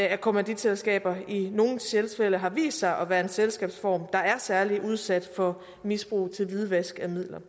at kommanditselskaber i nogle tilfælde har vist sig at være en selskabsform der er særlig udsat for misbrug til hvidvask af midler